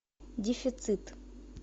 дефицит